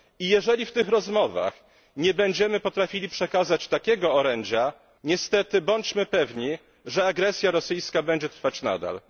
Jeżeli w tych rozmowach nie będziemy potrafili przekazać takiego orędzia, niestety bądźmy pewni, że agresja rosyjska będzie trwać nadal.